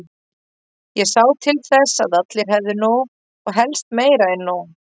Ég sá til þess að allir hefðu nóg, og helst meira en nóg.